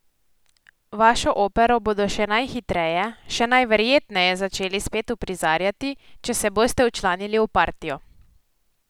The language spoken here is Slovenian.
Vašo opero bodo še najhitreje, še najverjetneje začeli spet uprizarjati, če se boste včlanili v partijo.